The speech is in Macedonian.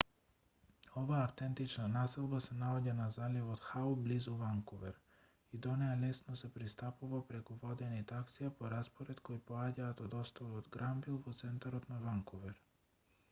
оваа автентична населба се наоѓа на заливот хау близу ванкувер и до неа лесно се пристапува преку водени таксија по распоред кои поаѓаат од островот гранвил во центарот на ванкувер